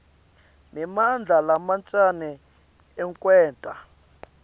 nemandla lamancane ekwenta